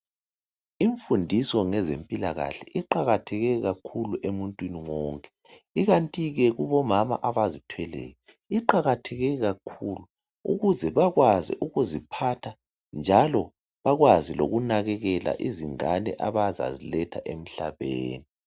Imfundiso ngezempilakahle iqakatheke kakhulu emuntwini wonke, ikanti ke kubomama abazithweleyo iqakatheke kakhulu ukuze bakwazi ukuziphatha njalo bakwazi lokunakekela izingane abazaziletha emhlabeni.